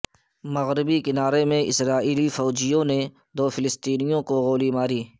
مغربی کنارے میں اسرائیلی فوجیوں نے دو فلسطینیوں کو گولی مار دی